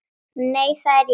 Nei, það er rétt.